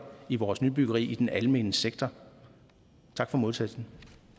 i vores nybyggeri i den almene sektor tak for modtagelsen